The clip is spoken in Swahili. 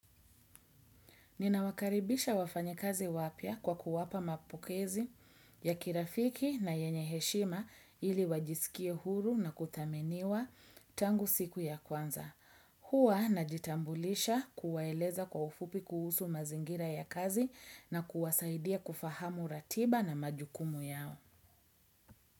Ninawakaribisha wafanyekazi wapya kwa kuwapa mapokezi ya kirafiki na yenye heshima ili wajisikie huru na kuthameniwa tangu siku ya kwanza. Hua najitambulisha kuwaeleza kwa ufupi kuhusu mazingira ya kazi na kuwasaidia kufahamu ratiba na majukumu yao.